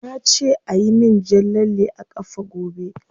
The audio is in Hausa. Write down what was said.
Na ce ayi min jan lalle a kafa gobe.